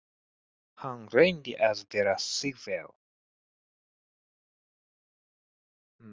Hann reyndi að bera sig vel.